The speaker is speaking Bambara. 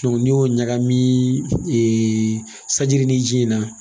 n'i y'o ɲagami sanji ni ji in na